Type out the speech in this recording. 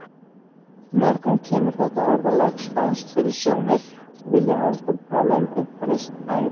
Mörgum kemur þetta orðalag spánskt fyrir sjónir og vilja heldur tala um uppreisn æru.